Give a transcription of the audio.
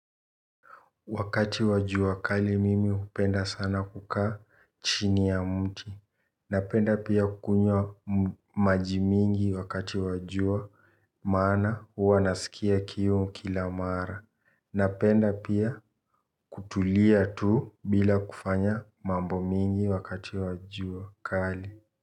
Wakati wajua kali mimi upenda sana kukaa chini ya muti. Napenda pia kukunywa majimingi wakati wajua. Maana huwa nasikia kiu kila mara. Napenda pia kutulia tu bila kufanya mambo mingi wakati wajua kali.